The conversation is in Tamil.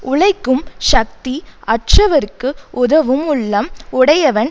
உழைக்கும் சக்தி அற்றவர்க்கு உதவும் உள்ளம் உடையவன்